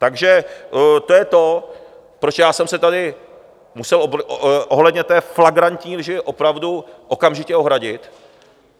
Takže to je to, proč já jsem se tady musel ohledně té flagrantní lži opravdu okamžitě ohradit.